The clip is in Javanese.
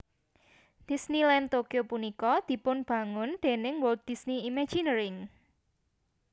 Disneyland Tokyo punika dipunbangung déning Walt Dysney Imagineering